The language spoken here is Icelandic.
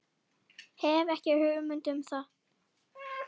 Hef ekki hugmynd um það.